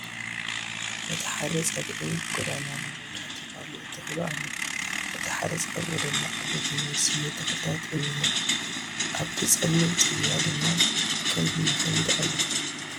በቲ ሓደ ፀግዒ ጎደና ናይ መብራሕቲ ፓሎ ተተኺሉ ኣሎ በቲ ሓደ ፀግዒ ድማ ዓበይቲ ናይ ስየ ተኽልታት እንሄ ፡ ኣብ ቲ ፀሊም ፅርግያ ድማ ከልቢ ይኸይድ ኣሎ ።